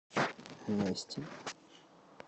нести